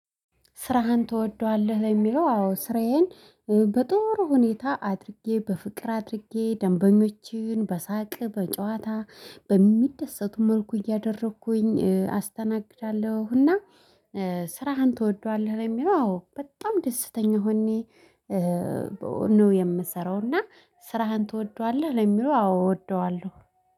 ስራህን ትወደዋለህ የሚለው? አዎ ስራዬን በጥሩ ሁኔታ አድርጌ በፍቅር አድርጌ ደንበኞችን በሳቅ በጨዋታ በሚደሰቱ መልኩ እያደረኩኝ አስተናግዳለሁና። እና ስራህን ትወደዋለህ የሚለው? አዎ በጣም ደስተኛ ሆኜ ነው የምሰራው። እና ስራህን ትወደዋለህ ለሚለው? አዎ እወደዋለሁ